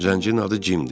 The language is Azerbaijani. Zəncirin adı Cimdir.